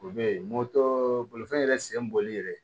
U bɛ yen moto bolifɛn yɛrɛ sen bɔli yɛrɛ